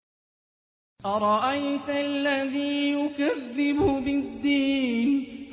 أَرَأَيْتَ الَّذِي يُكَذِّبُ بِالدِّينِ